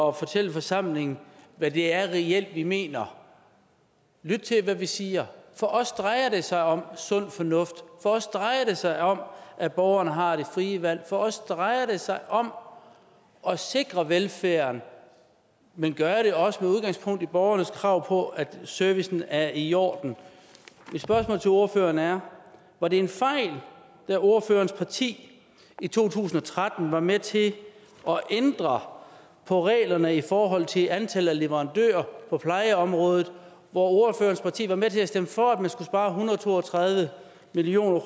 at fortælle forsamlingen hvad det reelt er vi mener lyt til hvad vi siger for os drejer det sig om sund fornuft for os drejer det sig om at borgerne har det frie valg for os drejer det sig om at sikre velfærden men gøre det også med udgangspunkt i borgernes krav på at servicen er i orden mit spørgsmål til ordføreren er var det en fejl da ordførerens parti i to tusind og tretten var med til at ændre på reglerne i forhold til antallet af leverandører på plejeområdet hvor ordførerens parti var med til at stemme for at man skulle spare en hundrede og to og tredive million